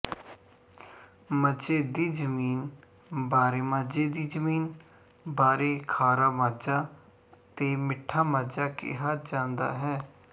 ਮਾਝੇਦੀ ਜ਼ਮੀਨ ਬਾਰੇਮਾਝੇ ਦੀ ਜ਼ਮੀਨ ਬਾਰੇ ਖਾਰਾ ਮਾਝਾ ਤੇ ਮਿੱਠਾ ਮਾਝਾ ਕਿਹਾ ਜਾਂਦਾ ਹੈ